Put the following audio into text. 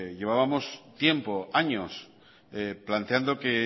llevábamos tiempo años planteando que